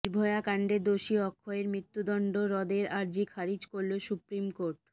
নির্ভয়াকাণ্ডে দোষী অক্ষয়ের মৃত্যুদণ্ড রদের আর্জি খারিজ করল সুপ্রিম কোর্ট